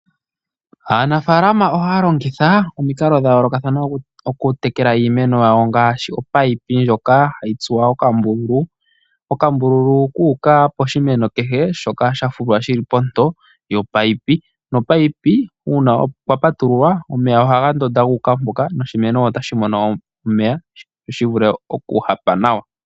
Aanafaalama ohaya longitha omikalo dha yoolokathana oku tekela iimeno yawo ngaashi opayipi ndjoka hayi tsuwa okambululu, okambululu kuuka poshimeno kehe shoka sha fulwa shili ponto yopayipi, nopayipi uuna kwa patululwa omeya ohaga ndonda guuka mpoka noshimeno otashi mono omeya sho shi vule okuhapa nawa.